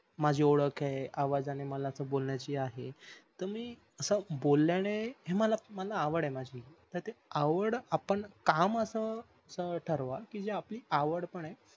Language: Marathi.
माझी ओळख आहे आवाजांनी मला बोल्ण्याची आहे त मी अस बोळ्याने हे मला आवड आहे माझी ते आवडआपण काम अस ठरवा कि जे आपली आवड पण आहे